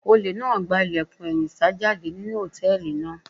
Olè náà gba ilẹ̀kùn ẹ̀yìn sá jáde nínú hòtẹ́ẹ̀lì náà.